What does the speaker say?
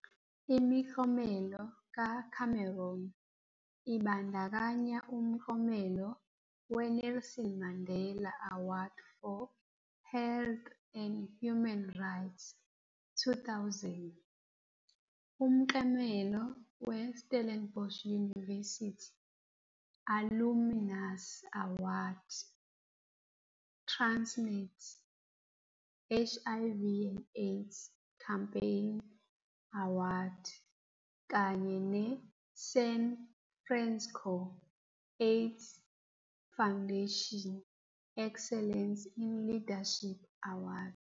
Imiklomelo kaCameron ibandakanya umklomelo we-Nelson Mandela Award for Health and Human Rights, 2000- Umklomelo we-Stellenbosh University Alumnus Award- Transnet HIV - AIDS Champion Award kanye ne-San Francisco AIDS Foundation Excellence in Leadership Award.